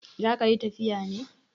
Za ka yi tafiya ne?